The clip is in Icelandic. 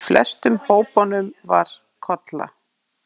Í flestum hópunum var Kolla.